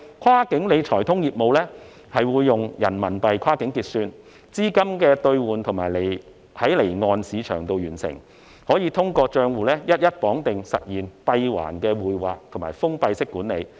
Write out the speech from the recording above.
"跨境理財通"業務會用人民幣跨境結算，資金兌換在離岸市場完成，有關的資金可以通過帳戶一一綁定實現閉環匯劃及封閉管理。